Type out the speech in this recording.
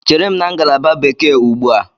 Chere m na ngalaba Bekee ugbu a!